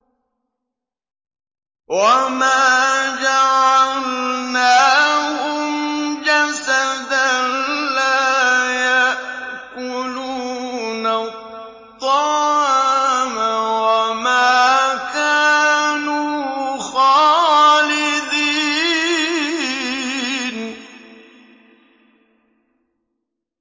وَمَا جَعَلْنَاهُمْ جَسَدًا لَّا يَأْكُلُونَ الطَّعَامَ وَمَا كَانُوا خَالِدِينَ